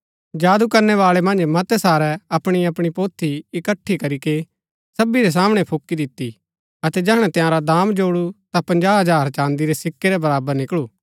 जादू करनैवाळै मन्ज मतै सारै अपणी अपणी पोथी इकट्ठी करीके सबी रै सामणै फूकी दिती अतै जैहणै तंयारा दाम जोडु ता पजाँह हजार चाँदी रै सिक्कै रै बराबर निकळू